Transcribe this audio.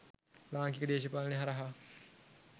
ලාංකීය දේශපාලනය හරහා